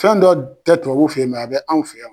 Fɛn dɔ tɛ tubabu fe yen a bɛ anw fɛ yan .